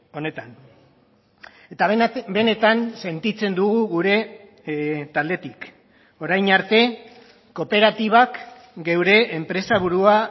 honetan eta benetan sentitzen dugu gure taldetik orain arte kooperatibak geure enpresaburua